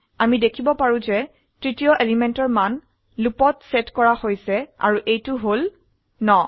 আমি দেখিব পাৰো যে তৃতীয় এলিমেন্টৰ মান লুপত সেট কৰা হৈছে আৰু এইটো হল 9